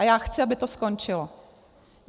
A já chci, aby to skončilo.